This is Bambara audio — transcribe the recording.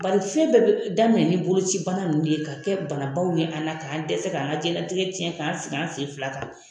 Bari fɛn bɛɛ be daminɛ ni bolocibana ninnu de ye ka kɛ banabaw ye an na k'an dɛsɛ k'an ka jɛnnatigɛ cɛn k'an sigi an sen fila kan